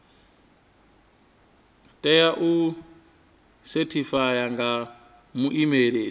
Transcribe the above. tea u sethifaiwa nga muimeli